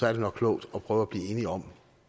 er det nok klogt at prøve at blive enige om